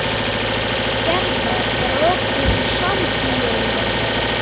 Gerða, er opið í Sambíóunum?